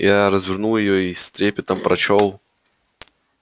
я развернул её и с трепетом прочёл